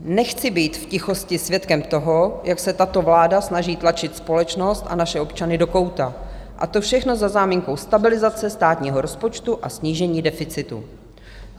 Nechci být v tichosti svědkem toho, jak se tato vláda snaží tlačit společnost a naše občany do kouta a to všechno pod záminkou stabilizace státního rozpočtu a snížení deficitu.